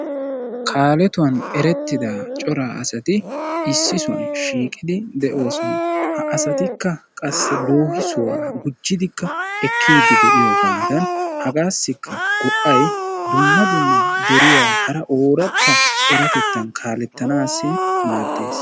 Kaaletuwan eretida cora asati issi sohuwan shiiqidi deosona. Ha asatikka qassi loohissuwa gujjidikka ekiidi de'iyoogaadan hagadankka go'ay dumma dumma deriya hara oorata eratettan kaaletanaassi maadees.